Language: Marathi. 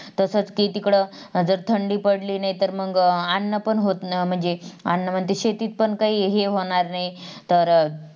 तसच कि तिकडं जर थंडी पाडळीनाहीतर मग अन्नपण होत नाही म्हणजे अन्नमध्ये शेतीतपण काही हे होणार नाही, तर